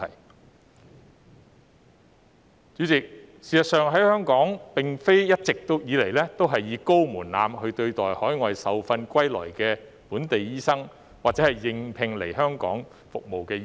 代理主席，事實上，香港並非一直以高門檻對待海外受訓歸來的本地醫生或應聘來港服務的醫生。